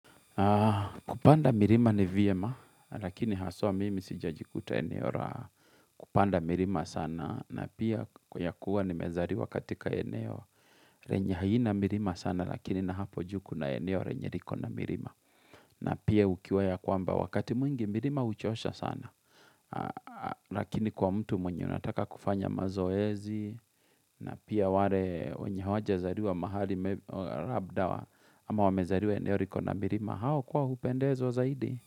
Kupanda mirima ni vyema, lakini haswa mimi sija jikuta eneo ra. Kupanda mirima sana, na pia kwenye kuwa ni mezariwa katika eneo. Renye haina mirima sana, lakini na hapo juu kuna eneo renye riko na mirima. Na pia ukiwaya kwamba wakati mwingi mirima huchosha sana. Lakini kwa mtu mwenye unataka kufanya mazoezi, na pia wale wenyehawaja zariwa mahali rabda, ama wamezariwa eneo riko na mirima. Na hao kwao hupendezwa zaidi.